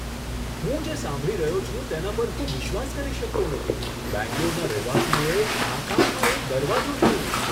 હું જે સાંભળી રહ્યો છું તેના પર હું વિશ્વાસ કરી શકતો નથી! બેંગ્લોરના રહેવાસીઓએ આકાશમાં એક દરવાજો જોયો!